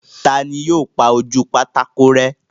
Ta ni yóò pa ojú pátákó rẹ́?